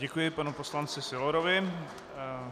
Děkuji panu poslanci Sylorovi.